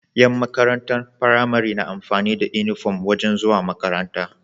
Yan makarantar pramari na amfani da inufom wajan zuwa makaranta